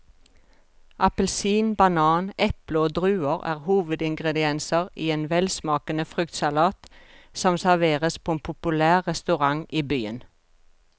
Appelsin, banan, eple og druer er hovedingredienser i en velsmakende fruktsalat som serveres på en populær restaurant i byen.